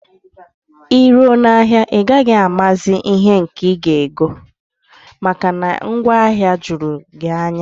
Iruo na ahịa a, ị gaghị amazi ihe nke ị ga ego, maka na ngwaahịa jụrụ gị anya